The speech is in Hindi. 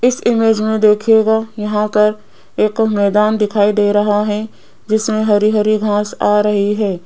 इस इमेज में देखिएगा यहां पर एक मैदान दिखाई दे रहा है जिसमें हरी हरी घास आ रही है।